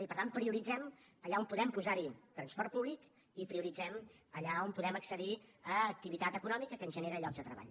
i per tant prioritzem allà on podem posar hi transport públic i prioritzem allà on podem accedir a activitat econòmica que ens genera llocs de treball